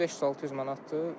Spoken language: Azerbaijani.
1500-600 manatdır.